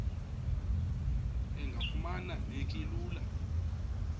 engafuma neki lula